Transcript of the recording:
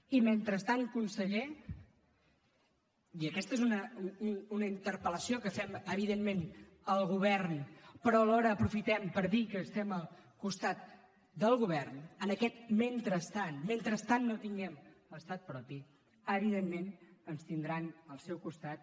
i mentrestant conseller i aquesta és una interpel·lació que fem evidentment al govern però alhora aprofitem per dir que estem al costat del govern en aquest mentrestant mentrestant no tinguem l’estat propi evidentment ens tindran al seu costat